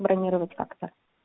бронировать как-то